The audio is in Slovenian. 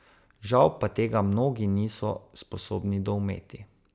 Žal pa tega mnogi niso sposobni doumeti.